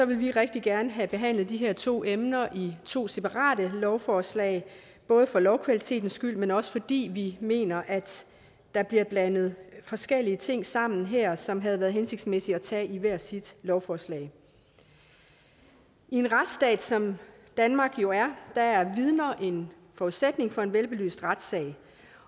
vil vi rigtig gerne have behandlet de her to emner i to separate lovforslag både for lovkvalitetens skyld men også fordi vi mener at der bliver blandet forskellige ting sammen her som det havde været hensigtsmæssigt at tage i hvert sit lovforslag i en retsstat som danmark jo er er er vidner en forudsætning for en velbelyst retssag